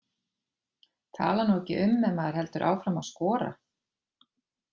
Tala nú ekki um ef maður heldur áfram að skora.